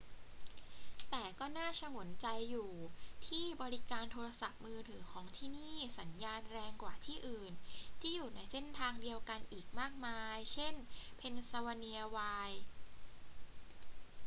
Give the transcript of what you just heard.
แต่ก็น่าฉงนใจอยู่ที่บริการโทรศัพท์มือถือของที่นี่สัญญาณแรงกว่าที่อื่นที่อยู่ในเส้นทางเดียวกันอีกมากมาย เช่น pennsylvania wilds